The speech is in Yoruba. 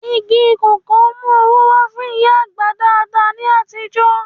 Igi kòkó ń mú owó wá fún ìyá àgbà dáadáa ní àtijọ́